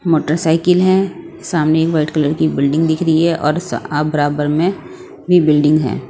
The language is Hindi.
मोटरसाइकिल है सामने वाइट कलर की बिल्डिंग दिख रही है और सा आ बराबर में भी बिल्डिंग है।